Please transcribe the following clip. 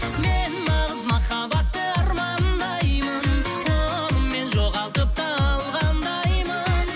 мен нағыз махаббатты армандаймын оны мен жоғалтып та алғандаймын